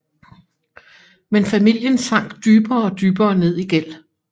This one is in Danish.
Men familien sank dybere og dybere ned i gæld